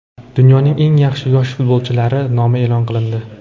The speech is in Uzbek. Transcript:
Dunyoning eng yaxshi yosh futbolchilari nomi e’lon qilindi.